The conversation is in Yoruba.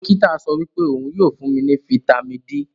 Dokita sowipe ohun yoo fun mi ni Fítàmì D.